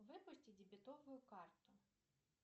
выпусти дебетовую карту